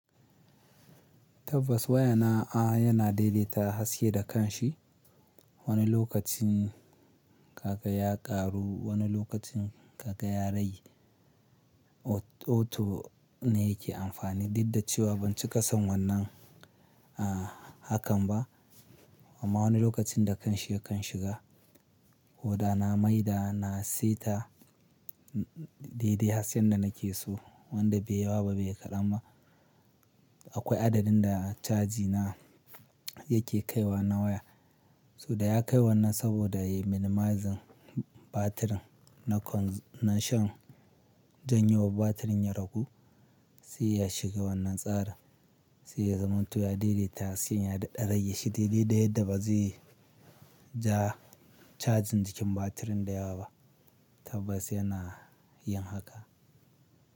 Tabbas wayana a yana daidaita haske da kanshi. Wani lokacin kaga ya karu, wani lokacin kaga yarage Auto ne yake amfani, duk da cewa ban ci ƙasan wannan a hakan ba. Amma wani lokacin da kanshi ya kan shiga, koda na maida na saita daidai hasken da nake so wanda bai yawa ba bai ƙarama. Akwai adadin da caji na yake kaiwa na waya. So da ya kai wannan saboda ya minimizing batirin na consumption. Don yinwa batirin ya ragu, sai ya shiga wannan tsarin sai ya zama to ya daidaita hasken ya daɗa rage shi. Daidai yadda ba zai ja cajin cikin batirin da yawa ba. Tabbas yana yin haka.